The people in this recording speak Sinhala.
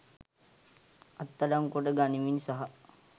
අත් අඩංගුවට ගනිමින් සහ